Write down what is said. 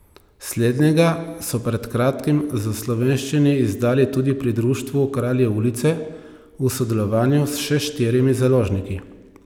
Slednjega so pred kratkim v slovenščini izdali tudi pri društvu Kralji Ulice v sodelovanju s še štirimi založniki.